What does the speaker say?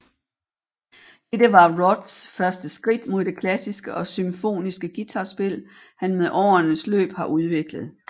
Dette var Roths første skridt mod det klassiske og symfoniske guitarspil han med årenes løb har udviklet